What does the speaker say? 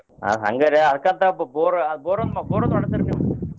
ಹ ಹಂಗಾರೆ ಅದಕ್ಕ ಅಂತ ಬೋರ ಬೋರ್ ಬೋರ ಒಂದ ಹೊಡಸ್ರಿ ನೀವ.